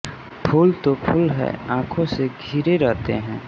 फूल तो फूल हैं आँखों से घिरे रहते हैं